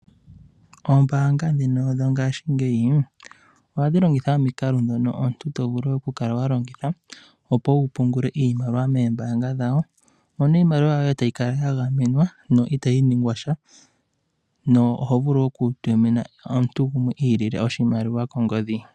Oombaanga dhino dhongaashingeyi ohadhi longitha omikalo ndhono omuntu tovulu oku kala walongitha opo wupungule iimaliwa moombaanga dhawo. Iimaliwa yoye otayi kala yagamenwa yo ihayi ningwasha. Oho vulu okutumina omuntu guwe oshimaliwa kongodhi.